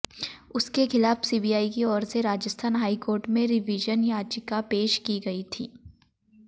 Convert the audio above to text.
उसके खिलाफ सीबीआई की ओर से राजस्थान हाईकोर्ट में रिवीजन याचिका पेश की गई थी